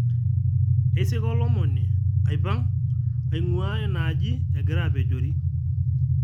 Eisika olomoni aipang' aing'uaa ina aaji egira apejori